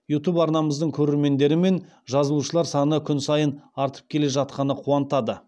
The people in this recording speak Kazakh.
ютуб арнамыздың көрермендері мен жазылушылар саны күн сайын артып келе жатқаны қуантады